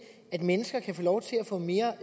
mennesker kan få lov til at få mere